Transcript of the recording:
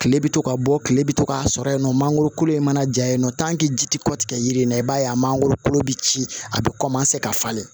Kile bɛ to ka bɔ kile bɛ to k'a sɔrɔ yen nɔ mangoro kolo in mana ja yen nɔ ji ti kɔtigɛ yiri in na i b'a ye a mangoro kolo be ci a be kɔmanse ka falen